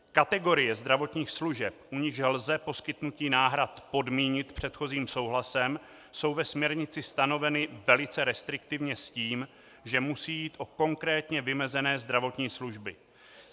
Kategorie zdravotních služeb, u nichž lze poskytnutí náhrad podmínit předchozím souhlasem, jsou ve směrnici stanoveny velice restriktivně s tím, že musí jít o konkrétně vymezené zdravotní služby.